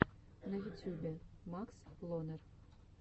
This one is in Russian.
на ютюбе макс лонер